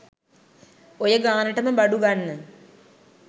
ඔය ගානටම බඩු ගන්න